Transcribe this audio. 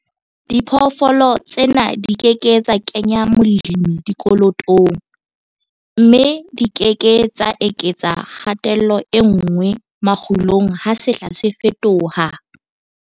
Diphoofolo tsena di ke ke tsa kenya molemi dikolotong, mme di ke ke tsa eketsa kgatello e nngwe makgulong ha sehla se fetoha.